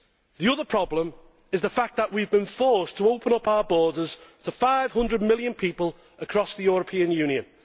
The other problem is the fact that we have been forced to open our borders to 500 million people across the European Union.